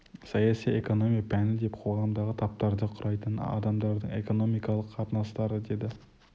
саяси экономия пәні деп қоғамдағы таптарды құрайтын адамдардың экономикалық қатынастары деді